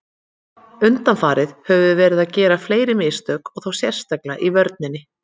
Undanfarið höfum við verið að gera fleiri mistök og þá sérstaklega í vörninni.